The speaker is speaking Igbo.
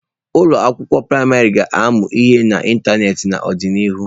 Ụlọ akwụkwọ praịmarị ga-amu ihe n'ịntanetị n'ọdịnihu.